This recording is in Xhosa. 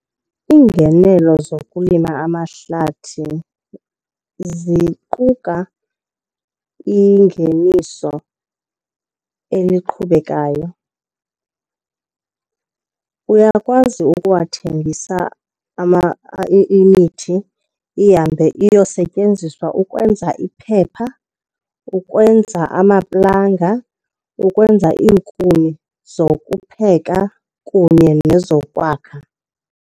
Iingenelo zokulima amahlathi ziquka ingeniso eliqhubekayo. Uyakwazi ukuwathengisa imithi ihambe iyosetyenziswa ukwenza iphepha, ukwenza amaplanga, ukwenza iinkuni zokupheka kunye nezokwakha.